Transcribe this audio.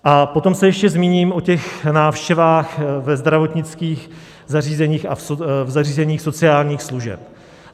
A potom se ještě zmíním o těch návštěvách ve zdravotnických zařízeních a v zařízeních sociálních služeb.